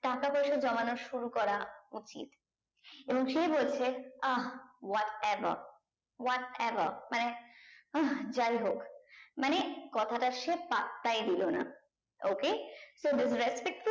টাকা পয়সা জমানো শুরু করা উচিত এবং সে বলছে what ever what ever মানে আহ যাই হোক মানে কথা টা সে পাত্তায় দিলো না okay তো with respect